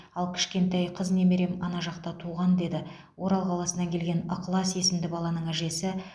ал кішкентай қыз немерем ана жақта туған деді орал қаласынан келген ықылас есімді баланың әжесі